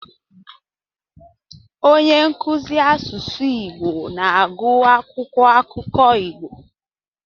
Onye nkuzi asụsụ Igbo na-agụ akwụkwọ akụkọ Igbo.